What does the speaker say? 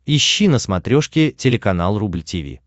ищи на смотрешке телеканал рубль ти ви